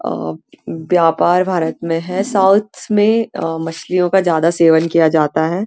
अ व्यापार भारत में है साउथ में अ मछलियों का ज्यादा सेवन किया जाता है।